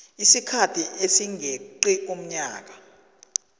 isikhathi esingeqi umnyaka